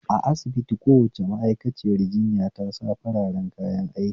A asibiti kowace ma'aikaciyar jinya ta sa fararen kayan aiki